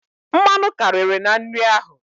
Mmanụ karịrị na nri ahụ.